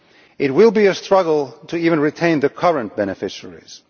It will be a struggle to even retain the current beneficiaries.